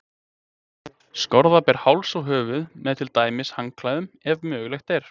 Skorða ber háls og höfuð, með til dæmis handklæðum, ef mögulegt er.